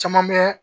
Caman bɛ